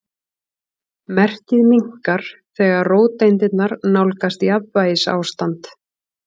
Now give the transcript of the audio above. Merkið minnkar þegar róteindirnar nálgast jafnvægisástand.